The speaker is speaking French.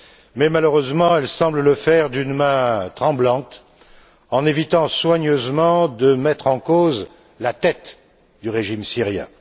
Mais, malheureusement, elle semble le faire d'une main tremblante en évitant soigneusement de mettre en cause la tête du régime syrien.